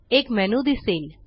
एक मेन्यू दिसेल